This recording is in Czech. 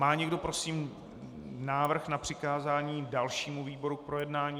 Má někdo prosím návrh na přikázání dalšímu výboru k projednání?